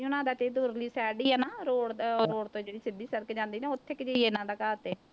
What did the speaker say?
ਉਹਨਾਂ ਦਾ ਤੇ ਉਰਲੀ side ਹੀ ਆ ਨਾ road ਦਾ road ਤੋਂ ਜਿਹੜੀ ਸਿੱਧੀ ਸੜਕ ਜਾਂਦੀ ਨਾ ਉੱਥੇ ਕੁ ਜਿਹੇ ਹੀ ਆ ਇਹਨਾਂ ਦਾ ਘਰ ਤੇ।